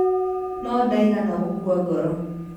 No ndaigana gũkua ngoro.